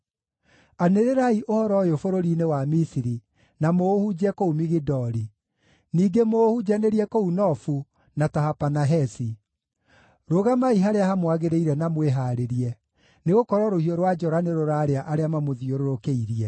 “Anĩrĩrai ũhoro ũyũ bũrũri-inĩ wa Misiri, na mũũhunjie kũu Migidoli; ningĩ mũũhunjanĩrie kũu Nofu na Tahapanahesi: ‘Rũgamai harĩa hamwagĩrĩire na mwĩhaarĩrie, nĩgũkorwo rũhiũ rwa njora nĩrũrarĩa arĩa mamũthiũrũrũkĩirie.’